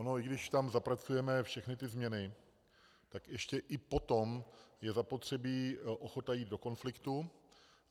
Ono i když tam zapracujeme všechny ty změny, tak ještě i potom je zapotřebí ochota jít do konfliktu.